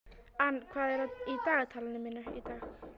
Ann, hvað er í dagatalinu mínu í dag?